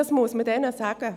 Dies muss man ihnen sagen.